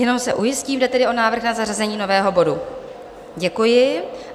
Jenom se ujistím, jde tedy o návrh na zařazení nového bodu, děkuji.